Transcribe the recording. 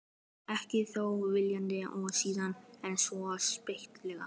Ekki þó viljandi og síður en svo skipulega.